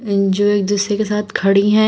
ये जो एक दूसरे के साथ खड़ी हैं।